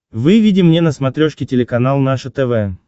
выведи мне на смотрешке телеканал наше тв